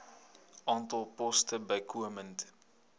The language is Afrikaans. aantal poste bykomend